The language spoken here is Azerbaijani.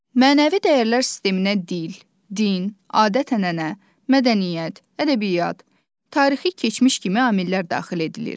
Mənəvi dəyərlər sisteminə dil, din, adət-ənənə, mədəniyyət, ədəbiyyat, tarixi keçmiş kimi amillər daxil edilir.